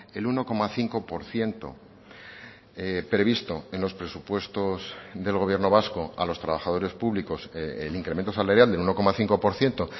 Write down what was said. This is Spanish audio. el uno coma cinco por ciento previsto en los presupuestos del gobierno vasco a los trabajadores públicos el incremento salarial del uno coma cinco por ciento